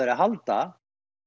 að halda